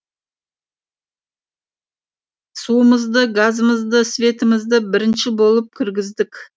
суымызды газымызды светімізді бірінші болып кіргіздік